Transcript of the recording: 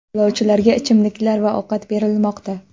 Yo‘lovchilarga ichimliklar va ovqat berilmoqda .